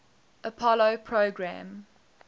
apollo program